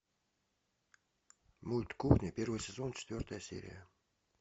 мульт кухня первый сезон четвертая серия